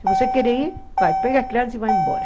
Se você quer ir, vai, pega as crianças e vai embora.